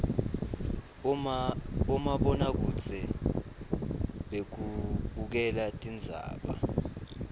bomabonakudze bekubukela tindzaba